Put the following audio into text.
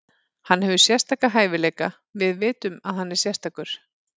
Hann hefur sérstaka hæfileika, við vitum að hann er sérstakur.